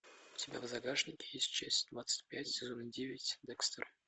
у тебя в загашнике есть часть двадцать пять сезона девять декстер